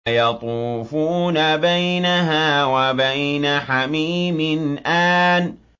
يَطُوفُونَ بَيْنَهَا وَبَيْنَ حَمِيمٍ آنٍ